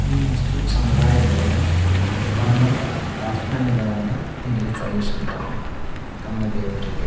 ಈ ಮುಸ್ಲಿಂ ಸಮುದಾಯದವರು ತಮ್ಮ ಪ್ರಾರ್ಥನೆ ಗಳನ್ನ ಇಲ್ಲಿ ಸಲ್ಲಿಸುತ್ತಾರೆ ತಮ್ಮ ದೇವರಿಗೆ.